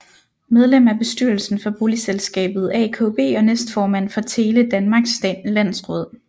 Medlem af bestyrelsen for boligselskabet AKB og næstformand for Tele Danmarks landsråd